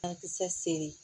Ankisɛ seri